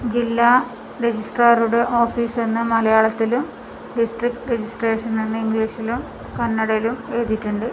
ജില്ലാ രജിസ്ട്രാറുടെ ഓഫീസ് നിന്നു മലയാളത്തിലും ഡിസ്ട്രിക്റ്റ് രജിസ്ട്രേഷൻ എന്ന് ഇംഗ്ലീഷിലും കന്നടയിലും എഴുതിയിട്ടുണ്ട്.